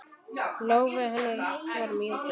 Lófi hennar var mjúkur.